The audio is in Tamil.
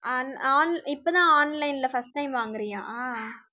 on~ on~ இப்பதான் online ல first time வாங்குறியா